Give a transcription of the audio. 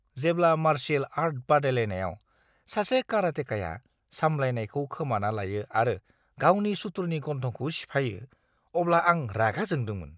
जेब्ला martial art बादायलायनायाव सासे कराटेकाया सामलायनायखौ खोमाना लायो आरो गावनि सुथुरनि गन्थंखौ सिफायो, अब्ला आं रागा जोंदोंमोन।